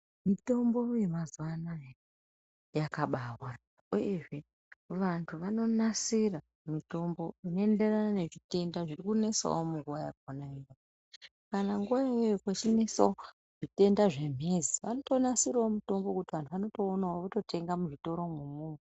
Mitombo yemazuwanaya yakabawanda uyezve vantu vanonasira mutombo unoenderana nechitenda zvirikunesawo munguwa yakona iyoyo, kana nguwa iyoyo kwechinesawo zvitenda zvemhezi vanotonasirawo mutombo wekuti vantu vanotoonawo vototengawo muzvitoromwo umwomwo.